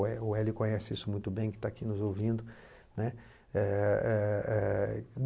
O Elio conhece isso muito bem, que está aqui nos ouvindo, né. Eh eh eh